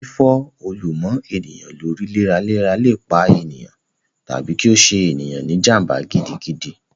Fífọ́ òòlù mọ́ ènìyàn lórí léraléra lè pa ènìyàn, tàbí kí ó ṣe ènìyàn ní jàm̀bà gidigidi